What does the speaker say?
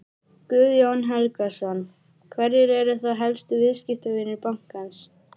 Guðjón Helgason: Hverjir eru þá helstu viðskiptavinir bankans?